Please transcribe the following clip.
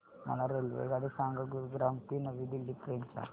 मला रेल्वेगाडी सांगा गुरुग्राम ते नवी दिल्ली पर्यंत च्या